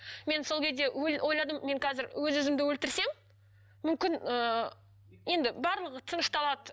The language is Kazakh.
мен сол кезде ойладым мен қазір өз өзімді өлтірсем мүмкін ыыы енді барлығы тынышталады